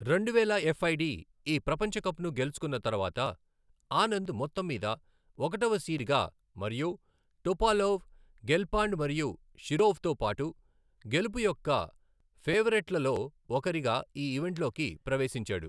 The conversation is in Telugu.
రెండువేల ఎఫ్ఐడీ ఈ ప్రపంచ కప్ను గెలుచుకున్న తరువాత, ఆనంద్ మొత్తం మీద ఒకటవ సీడ్ గా మరియు టోపాలోవ్, గెల్ఫాండ్ మరియు షిరోవ్తో పాటు గెలుపు యొక్క ఫేవరేట్లలో ఒకరిగా ఈ ఈవెంట్లోకి ప్రవేశించాడు.